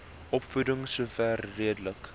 opvoeding sover redelik